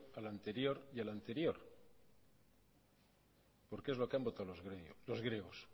al anterior al anterior y al anterior porque es lo que han votado los griegos